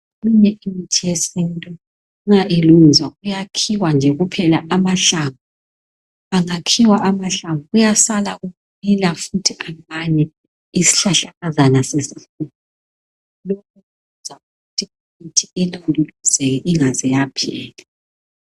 Imithi yesintu ma ilungiswa kuyakhiwa nje amahlamvu angakhiwa amahlamvu kuyasala kumila futhi amanye isihlahlakazana sesikhula lokhu kwenza imithi Ilondolozeke ingaze yaphela